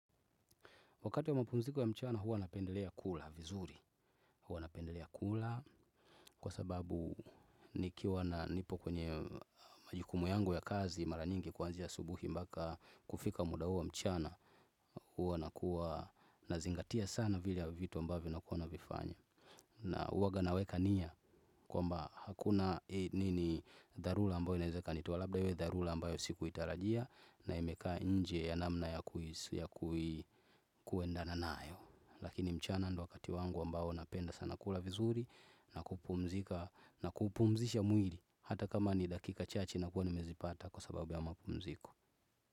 Wakati ya mapumziko ya mchana huwa napendelea kula vizuri. Huwa napendelea kula kwa sababu nikiwa na nipo kwenye majukumu yangu ya kazi mara nyingi kwanzia asubuhi mbaka kufika muda huo mchana. Huwa nakuwa nazingatia sana vile ya vitu ambavyo na kuwa na vifanya. Na huwaga naweka nia kwamba hakuna nini dharura ambayo inaezaka ikanitoa labda hiyo dharura ambayo siku itarajia na imekaa nje ya namna ya kuendana nayo. Lakini mchana ndio wakati wangu ambao napenda sana kula vizuri na kupumzika na kupumzisha mwili hata kama ni dakika chache na kuwa nimezipata kwa sababu ya mapumziko.